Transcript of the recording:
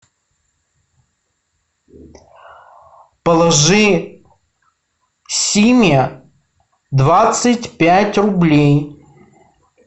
положи симе двадцать пять рублей